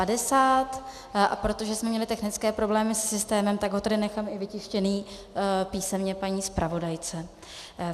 A protože jsme měli technické problémy se systémem, tak ho tady nechám i vytištěný písemně paní zpravodajce.